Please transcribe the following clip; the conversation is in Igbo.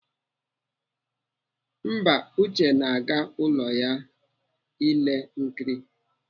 Mba, Uche na-aga n'ụlọ ya ile nkiri.